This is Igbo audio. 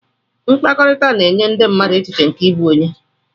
Mkpakọrịta na-enye ndị mmadụ echiche nke ịbụ onye.